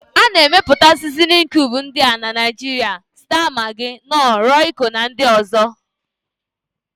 A na-emepụta Sizinin kiubu ndị a na Naịjiria: staa magị, nọọ, rọiko na ndị ọ̀zọ́.